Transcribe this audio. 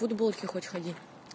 в футболке хоть ходи